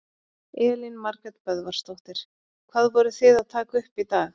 Elín Margrét Böðvarsdóttir: Hvað voru þið að taka upp í dag?